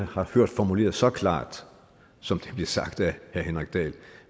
har hørt formuleret så klart som det blev sagt af herre henrik dahl